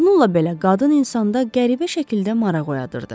Bununla belə qadın insanda qəribə şəkildə maraq oyadırdı.